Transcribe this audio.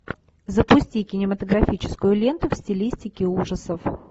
запусти кинематографическую ленту в стилистике ужасов